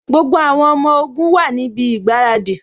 Gbogbo àwọn ọmọ ogun wá níbi ìgbáradì